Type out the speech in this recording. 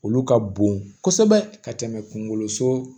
Olu ka bon kosɛbɛ ka tɛmɛ kungolo so